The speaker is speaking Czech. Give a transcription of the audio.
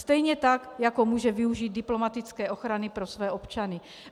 Stejně tak jako může využít diplomatické ochrany pro své občany.